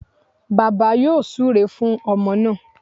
Bàbá yóò súre fún ọmọ náà